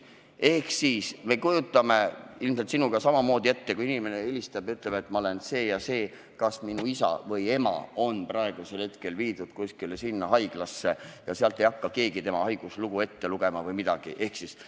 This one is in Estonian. Me ilmselt kujutame sinuga samamoodi ette, et kui inimene helistab ja ütleb, et ta on see ja see, kas tema isa või ema on praegusel hetkel viidud kuskile haiglasse, siis ei hakka keegi talle telefonitsi haiguslugu ette lugema ega midagi.